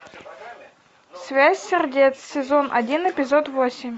связь сердец сезон один эпизод восемь